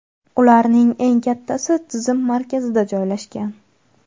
ularning eng kattasi tizim markazida joylashgan.